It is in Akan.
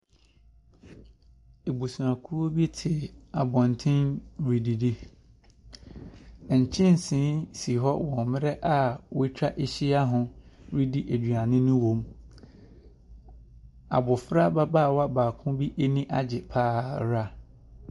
Abusuakuo bi te abɔnten redidi. Nkyɛnse si hɔ wɔ mmrɛ a wɛtwa ɛhyia ho redi aduane no wɔm. Abofra ababaawa baako bi ɛniagye paara.